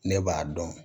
Ne b'a dɔn